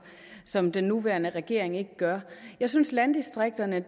som den nuværende regering ikke gør jeg synes at landdistrikterne